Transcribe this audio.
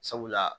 Sabula